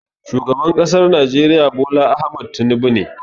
Shugaban ƙasar najeriya Bola Ahmed Tinubu ne